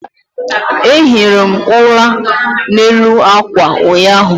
a ehiri m ula n'elu akwa ụnyaahụ